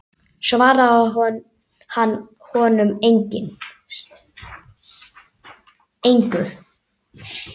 Svaraði hann honum engu.